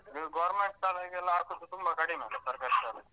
ನೀವ್ government ಶಾಲೆಗೆಲ್ಲ ಹಾಕುದು ತುಂಬ ಕಡಿಮೆ ಅಲ್ಲ ಸರ್ಕಾರಿ ಶಾಲೆಗೆ.